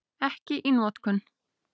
Ekki í notkun.